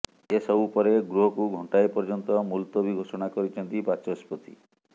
ଏ ସବୁ ପରେ ଗୃହକୁ ଘଣ୍ଟାଏ ପର୍ଯ୍ୟନ୍ତ ମୁଲତବୀ ଘୋଷଣା କରିଛନ୍ତି ବାଚସ୍ପତି